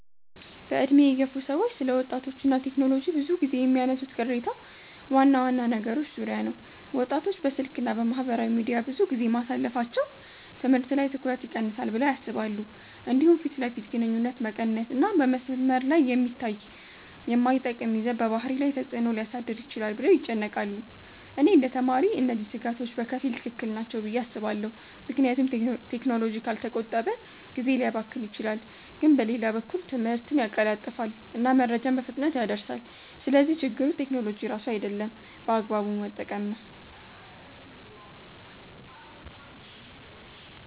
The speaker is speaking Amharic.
በዕድሜ የገፉ ሰዎች ስለ ወጣቶች እና ቴክኖሎጂ ብዙ ጊዜ የሚያነሱት ቅሬታ ዋና ዋና ነገሮች ዙሪያ ነው። ወጣቶች በስልክ እና በማህበራዊ ሚዲያ ብዙ ጊዜ ማሳለፋቸው ትምህርት ላይ ትኩረት ይቀንሳል ብለው ያስባሉ። እንዲሁም ፊት ለፊት ግንኙነት መቀነስ እና በመስመር ላይ የሚታይ የማይጠቅም ይዘት በባህሪ ላይ ተፅዕኖ ሊያሳድር ይችላል ብለው ይጨነቃሉ። እኔ እንደ ተማሪ እነዚህ ስጋቶች በከፊል ትክክል ናቸው ብዬ አስባለሁ፣ ምክንያቱም ቴክኖሎጂ ካልተቆጠበ ጊዜ ሊያባክን ይችላል። ግን በሌላ በኩል ትምህርትን ያቀላጥፋል እና መረጃን በፍጥነት ያደርሳል። ስለዚህ ችግሩ ቴክኖሎጂ ራሱ አይደለም፣ በአግባቡ መጠቀም ነው።